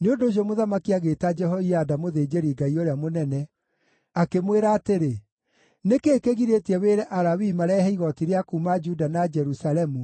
Nĩ ũndũ ũcio mũthamaki agĩĩta Jehoiada mũthĩnjĩri-Ngai ũrĩa mũnene, akĩmwĩra atĩrĩ, “Nĩ kĩĩ kĩgirĩtie wĩre Alawii marehe igooti rĩa kuuma Juda na Jerusalemu